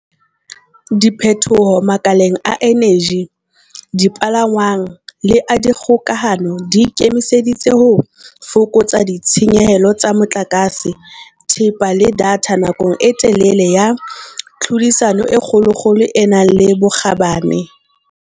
Diphethoho makaleng a eneji, dipalangwang le a dikgokahano di ikemiseditse ho fokotsa ditshenyehelo tsa motlakase, thepa le datha nakong e telele ka tlhodisano e kgolokgolo e nang le bokgabane.